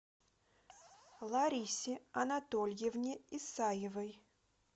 ларисе анатольевне исаевой